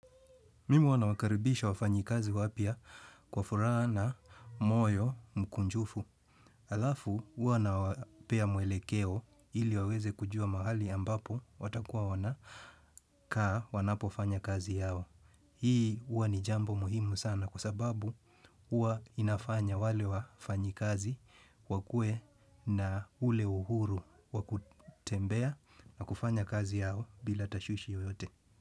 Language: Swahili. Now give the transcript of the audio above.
Mimi huwa nawakaribisha wafanyikazi wapya kwa furaha na moyo mkunjufu. Alafu huwa nawapea mwelekeo ili waweze kujua mahali ambapo watakuwa wana kaa wanapo fanya kazi yao. Hii huwa ni jambo muhimu sana kwa sababu wanafanya wale wafanyikazi wakue na ule uhuru wakutembea na kufanya kazi yao bila tashwishi yoyote.